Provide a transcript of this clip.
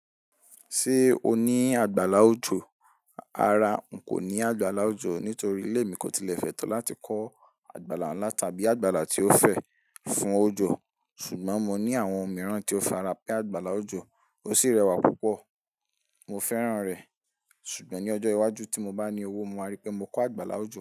Ṣé o ní àgbàlá òjò? Rárá, n kò ní àgbàlá òjò nítorí ilé mi kò tilẹ̀ fẹ́ to láti ko àgbàlá ńlá tàbí àgbàlá tí ó fẹ́ fún òjò. Ṣùgbọ́n mo ní àwọn ohun mìíràn tí ó fara pẹ́ àgbàlá òjò, ó sì rẹwà púpọ̀. Mo fẹ́ràn rẹ̀, ṣùgbọ́n ní ọjọ́ iwájú tí mo bá ní owó, mo máa rí pé mó kó àgbàlá òjò.